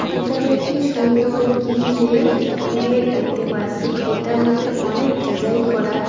এখানে একটি সুন্দর গ্রিল -এর গেট দেখতে পাসি গেট -এর মধ্যে অনেক ডিজাইন করা।